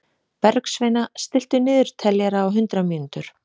Bergsveina, stilltu niðurteljara á hundrað mínútur.